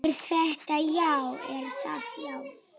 Er það, já?